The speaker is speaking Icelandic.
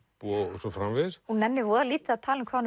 og svo framvegis hún nennir lítið að tala um hvað hún